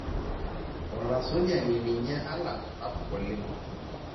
Olasujani ninye aland sapuk oleng'